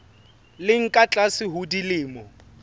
leng ka tlase ho dilemo